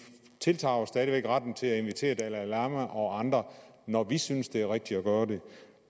tiltager os stadig væk retten til at invitere dalai lama og andre når vi synes det er rigtigt at gøre det